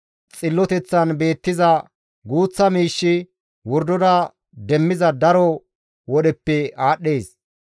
Xilloteththan beettiza guuththa miishshi wordora demmiza daro wodheppe aadhdhees.